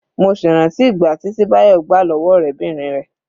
Mo sì rántí ìgbàtí tí Bayo gbà lọ́wọ́ ọ̀rẹ́bìnrin rẹ̀.